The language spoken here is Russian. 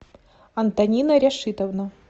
антонина ряшитовна